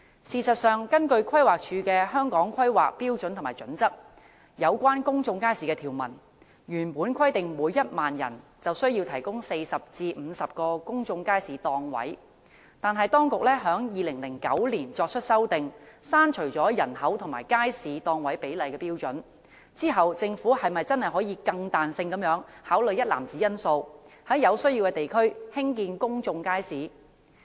事實上，根據規劃署的《規劃標準》有關公眾街市的條文，原本規定每1萬人便需要提供40至50個公眾街市檔位，但當局在2009年作出修訂，刪除了人口與街市檔位比例的標準，在作出刪除後，政府是否真的可以更彈性地考慮一籃子因素，在有需要的地區興建公眾街市？